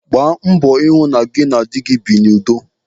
Gbaa mbọ hụ na gị na nne dị na-ebi n'udo.